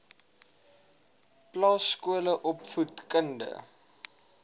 plaas skole opvoedk